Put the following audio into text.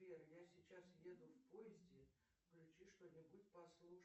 сбер я сейчас еду в поезде включи что нибудь послушать